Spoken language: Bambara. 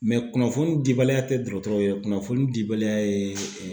kunnafoni dibaliya tɛ dɔgɔtɔrɔw ye, kunnafoni dibaliya ye